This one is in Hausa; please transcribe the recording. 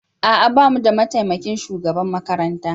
A'a ba mu da mataimakin shugaban makaranta